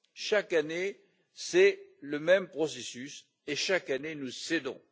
Chaque année, c'est le même processus et, chaque année, nous cédons.